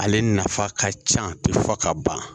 Ale nafa ka ca pewu fo ka ban